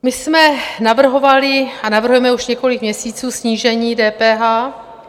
My jsme navrhovali a navrhujeme už několik měsíců snížení DPH.